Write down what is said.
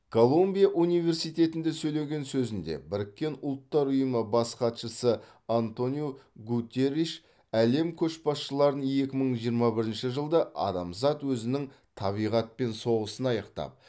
колумбия университетінде сөйлеген сөзінде біріккен ұлттар ұйымы бас хатшысы антониу гуттерриш әлем көшбасшыларын екі мың жиырма бірінші жылды адамзат өзінің табиғатпен соғысын аяқтап